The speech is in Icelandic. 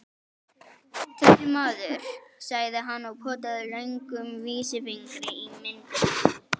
Þessi maður, sagði hann og potaði löngum vísifingri í myndina.